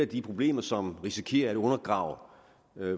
de problemer som risikerer at undergrave